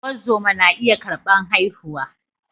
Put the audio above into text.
Ungozama na iya karbar haihuwa